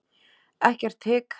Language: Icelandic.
Ekkert hik.